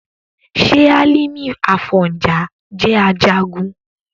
ṣé Hálímì Àfọ̀njá jẹ́ Ajagun?